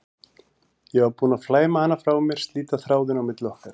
Ég var búin að flæma hana frá mér, slíta þráðinn á milli okkar.